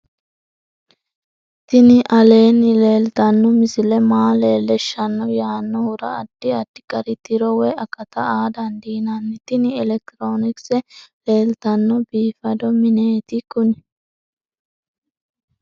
tini aleenni leeltanno misile maa leellishshanno yaannohura addi addi gari tiro woy akata aa dandiinanni tini elekitiroonikise leeltanno biifado mineeti kuni